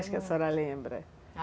Acho que a senhora lembra